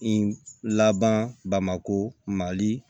I laban bamako mali